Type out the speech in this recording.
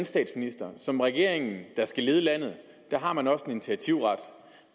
statsministeren som regering der skal lede landet har man også en initiativret